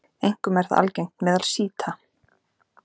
Einkum er það algengt meðal sjíta.